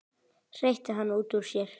hreytti hann út úr sér.